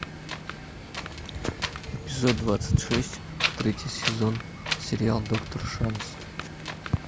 эпизод двадцать шесть третий сезон сериал доктор шанс